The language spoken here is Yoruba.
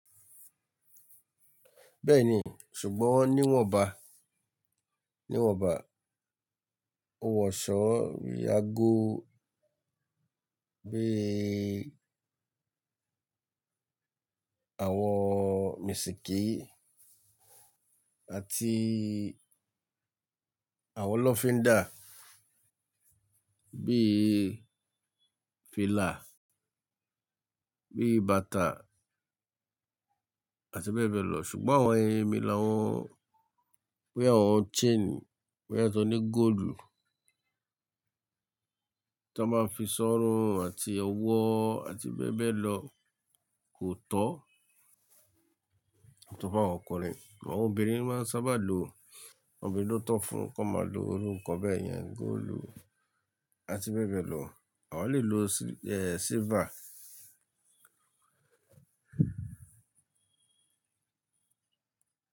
Bẹ́ẹ̀ni, ṣùgbọ́n wọ́n níwọ̀nba, níwọ̀nba, owó ọ̀ṣọ́, bíi ago, bíi àwọn mésìkí àti àwọn lọ́finda, bíi fila, bíi bàtà àti bẹ́ẹ̀ bẹ́ẹ̀ lọ. Ṣùgbọ́n àwọn ẹyin mi làwọn, bíi àwọn chain, bíi àwọn tó ní gold tó máa ń fi sọ́run àti ọwọ́ àti bẹ́ẹ̀ bẹ́ẹ̀ lọ kò tọ́, tọ́ fún àwọn ọkùnrin. Àwọn obìnrin máa ń sábà lo àwọn obinrin lo tó fún, kó máa lo iru nkan bẹ́ẹ̀ yẹn, gold àti bẹ́ẹ̀ bẹ́ẹ̀ lọ. Awa lè lo silver.